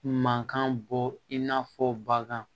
Mankan bɔ in n'a fɔ bagan